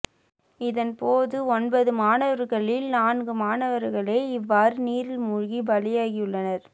இதன்போது ஒன்பது மாணவர்களில் நான்கு மாணவர்களே இவ்வாறு நீரில் மூழ்கி பலியாகியுள்ளனர்